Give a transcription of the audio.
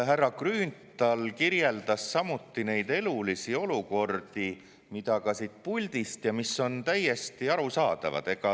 Härra Grünthal kirjeldas samuti neid elulisi olukordi, mida ka siit puldist ja mis on täiesti arusaadavad.